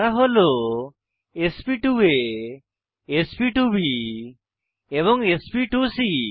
তারা হল sp2 A sp2 B এবং sp2সি